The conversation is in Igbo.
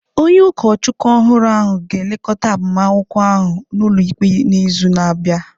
Onye ụkọchukwu ọhụrụ ahụ ga-elekọta agbamakwụkwọ ahụ n’ụlọikpe n’izu na-abịa.